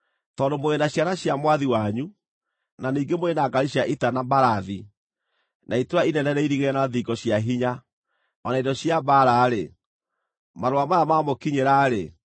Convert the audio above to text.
“Tondũ mũrĩ na ciana cia mwathi wanyu, na ningĩ mũrĩ na ngaari cia ita na mbarathi, na itũũra inene rĩirigĩre na thingo cia hinya, o na indo cia mbaara-rĩ, marũa maya maamũkinyĩra-rĩ,